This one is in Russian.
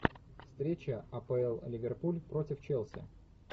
встреча апл ливерпуль против челси